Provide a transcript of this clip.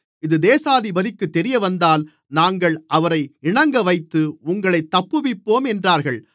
இது தேசாதிபதிக்கு தெரியவந்தால் நாங்கள் அவரை இணங்கவைத்து உங்களைத் தப்புவிப்போம் என்றார்கள்